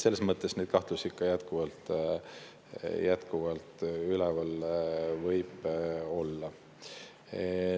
Neid kahtlusi võib jätkuvalt üleval olla.